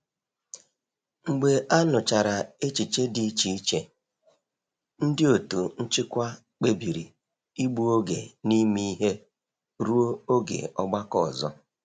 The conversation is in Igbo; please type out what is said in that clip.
Mgbe a nụchara echiche dị iche iche, ndị otu nchịkwa kpebiri ịgbu oge n'ime ihe ruo oge ọgbakọ ọzọ.